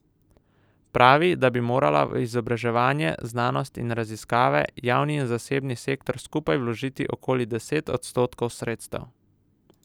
Pravi, da bi morala v izobraževanje, znanost in raziskave javni in zasebni sektor skupaj vložiti okoli deset odstotkov sredstev.